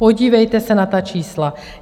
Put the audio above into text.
Podívejte se na ta čísla.